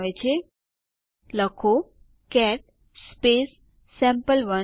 પછી લખો D U space s space